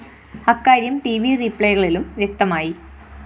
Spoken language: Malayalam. അക്കാര്യം ട്‌ വി റീപ്ലേകളിലും വ്യക്തമായി